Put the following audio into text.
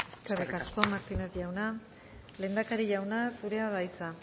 eskerrik asko eskerrik asko martínez jauna lehendakari jauna zurea da hitza